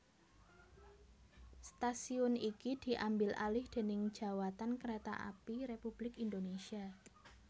Stasiun iki diambil alih déning Djawatan Kereta Api Republik Indonesia